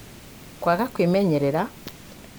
kwaga kumenyerera